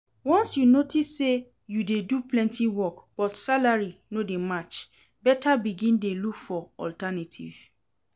Once you notice say you dey do plenty work but salary no dey match, better begin dey look for alternative